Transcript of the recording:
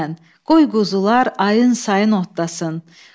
Qoy quzular ayın-sayın otlasın.